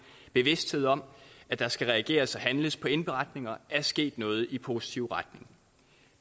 bevidsthed om at der skal reageres og handles på indberetninger er sket noget i positiv retning